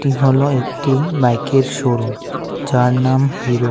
ই হলো একটি বাইকের শোরুম যার নাম হিরো ।